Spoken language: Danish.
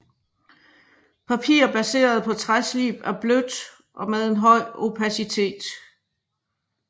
Papir baseret på træslib er blødt og med en høj opacitet